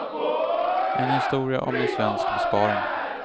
En historia om en svensk besparing.